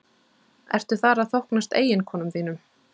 Ertu þar að þóknast eiginkonum þínum?